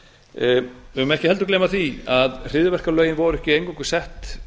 við megum ekki heldur gleyma því að hryðjuverkalögin voru ekki eingöngu sett